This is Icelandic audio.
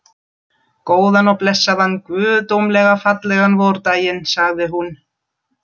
Góðan og blessaðan, guðdómlega fallegan vordaginn, sagði hún.